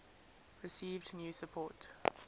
received new support